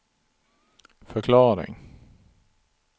förklaring